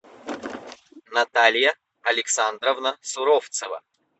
наталья александровна суровцева